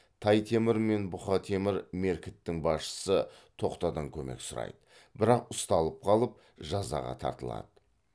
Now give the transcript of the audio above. тай темір мен бұқа темір меркіттің басшысы тоқтадан көмек сұрайды бірақ ұсталып қалып жазаға тартылады